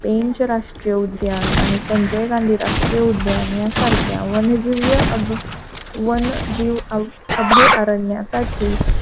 पेंच राष्ट्रीय उद्यान आणि संजय गांधी राष्ट्रीय उद्यान यासारख्या वन जिव्य वन जीवे अभयारण्यासाठी,